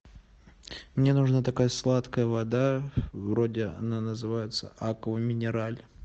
мне нужна такая сладкая вода вроде она называется аква минераль